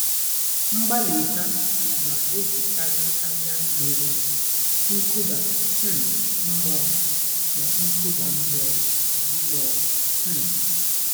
Mgbalị ha na-ejikarị anya mmiri, nkụda um mmụọ, na nkụda mmụọ. mmụọ. um